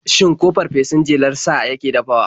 Shin ko fafesun jelar sa yake dafawa?